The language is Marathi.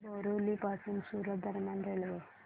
सांगा बोरिवली पासून सूरत दरम्यान रेल्वे